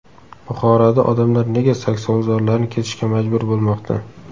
Buxoroda odamlar nega saksovulzorlarni kesishga majbur bo‘lmoqda?.